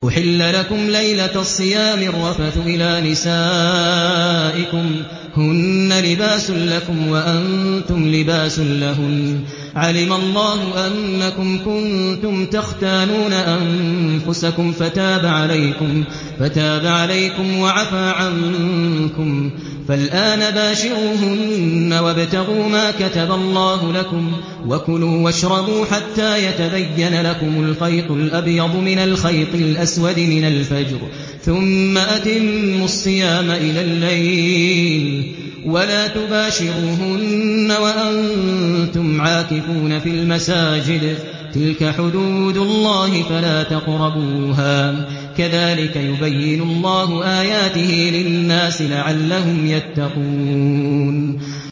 أُحِلَّ لَكُمْ لَيْلَةَ الصِّيَامِ الرَّفَثُ إِلَىٰ نِسَائِكُمْ ۚ هُنَّ لِبَاسٌ لَّكُمْ وَأَنتُمْ لِبَاسٌ لَّهُنَّ ۗ عَلِمَ اللَّهُ أَنَّكُمْ كُنتُمْ تَخْتَانُونَ أَنفُسَكُمْ فَتَابَ عَلَيْكُمْ وَعَفَا عَنكُمْ ۖ فَالْآنَ بَاشِرُوهُنَّ وَابْتَغُوا مَا كَتَبَ اللَّهُ لَكُمْ ۚ وَكُلُوا وَاشْرَبُوا حَتَّىٰ يَتَبَيَّنَ لَكُمُ الْخَيْطُ الْأَبْيَضُ مِنَ الْخَيْطِ الْأَسْوَدِ مِنَ الْفَجْرِ ۖ ثُمَّ أَتِمُّوا الصِّيَامَ إِلَى اللَّيْلِ ۚ وَلَا تُبَاشِرُوهُنَّ وَأَنتُمْ عَاكِفُونَ فِي الْمَسَاجِدِ ۗ تِلْكَ حُدُودُ اللَّهِ فَلَا تَقْرَبُوهَا ۗ كَذَٰلِكَ يُبَيِّنُ اللَّهُ آيَاتِهِ لِلنَّاسِ لَعَلَّهُمْ يَتَّقُونَ